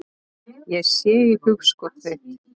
Sé í hugskot þitt.